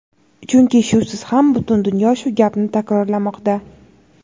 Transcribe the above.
chunki shusiz ham butun dunyo shu gapni takrorlamoqda;.